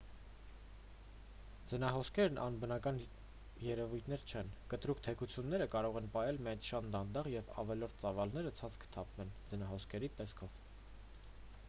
ձնահոսքերն անբնական երևույթներ չեն կտրուկ թեքությունները կարող են պահել միայն շատ դանդաղ և ավելորդ ծավալները ցած կթափվեն ձնահոսքերի տեսքով